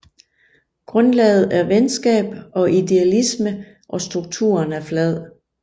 Grundlaget er venskab og idealisme og strukturen er flad